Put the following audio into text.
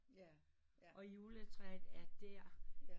Og juletræet er der